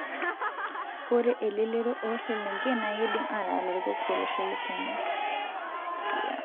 Ore elelero oselenken naa kidim ataa larikok tolosho le Kenya